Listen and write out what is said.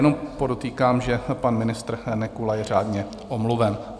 Jenom podotýkám, že pan ministr Nekula je řádně omluven.